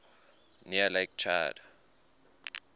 near lake chad